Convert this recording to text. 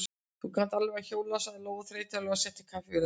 Þú kannt alveg að hjóla, sagði Lóa þreytulega og setti kaffivélina í gang.